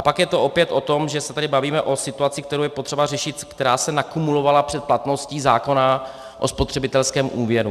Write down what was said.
- A pak je to opět o tom, že se tady bavíme o situaci, kterou je potřeba řešit, která se naakumulovala před platností zákona o spotřebitelském úvěru.